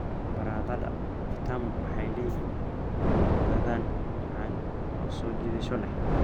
Baradhada vitamu waxay leeyihiin dhadhan macaan oo soo jiidasho leh.